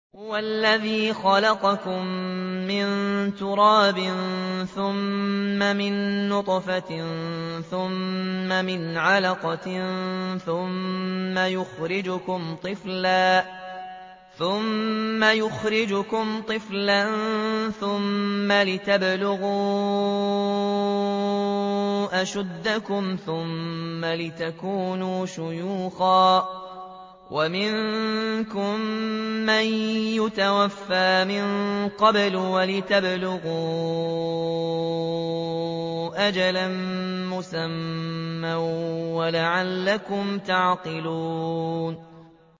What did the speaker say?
هُوَ الَّذِي خَلَقَكُم مِّن تُرَابٍ ثُمَّ مِن نُّطْفَةٍ ثُمَّ مِنْ عَلَقَةٍ ثُمَّ يُخْرِجُكُمْ طِفْلًا ثُمَّ لِتَبْلُغُوا أَشُدَّكُمْ ثُمَّ لِتَكُونُوا شُيُوخًا ۚ وَمِنكُم مَّن يُتَوَفَّىٰ مِن قَبْلُ ۖ وَلِتَبْلُغُوا أَجَلًا مُّسَمًّى وَلَعَلَّكُمْ تَعْقِلُونَ